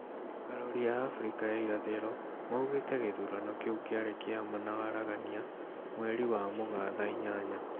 Arori a Afrika ya irathĩro maugĩte gĩthurano kĩu kĩarĩ kia ma na waragania, mweri wa Mũgaa thaa inyanya.